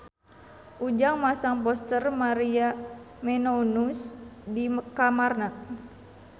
Ujang masang poster Maria Menounos di kamarna